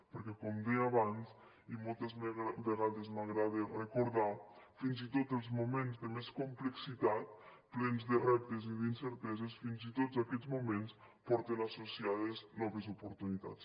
perquè com deia abans i moltes vegades m’agrada recordar fins i tot els moments de més complexitat plens de reptes i d’incerteses fins i tots aquests moments porten associades noves oportunitats